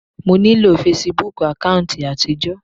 Mo nílò fesibúùkù àkáùntì àtijọ́.